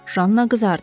Janna qızardı.